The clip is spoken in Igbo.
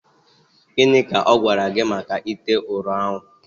Gịnị ka ọ gwara gị maka ite ụrọ ahụ